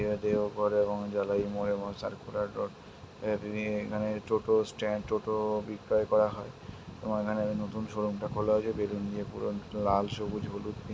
করে এবং এই জাগায় | তিনি এখানে টোটো স্ট্যান্ড টোটো বিক্রিয় করা হয় | এবং তোমার এখানে নতুন শোরুম -টা খুলেছে বেলুন দিয়ে পুরো লাল সবুজ হলুদ নীল--